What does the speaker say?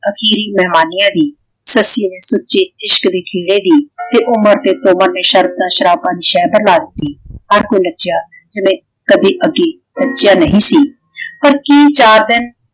ਅਖੀਰੀ ਮਹਿਮਾਨੀਆਂ ਦੀ ਸੱਸੀ ਨੇ ਸੁੱਚੇ ਇਸ਼ਕ ਦੀ ਖੇੜੇ ਦੀ ਤੇ ਉਮਰ ਤੇ ਤੁਮਰ ਨੇ ਸ਼ਰਤਾਂ ਸ਼ਰਾਬਾਂ ਦੀ ਸਹਿਬਰ ਲਾ ਦਿੱਤੀ। ਹਰ ਕੋਈ ਨੱਚਿਆ ਜਿਵੇਂ ਕਦੇ ਅੱਗੇ ਨੱਚਿਆ ਨਹੀਂ ਸੀ ਪਰ ਕਿ ਚਾਰ ਦਿਨ